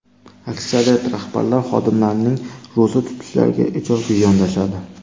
Aksariyat rahbarlar xodimlarining ro‘za tutishlariga ijobiy yondashadi.